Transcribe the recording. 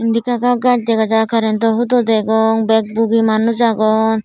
eni eka ga gaj degajai currento hudo degong bagbugi manus agon.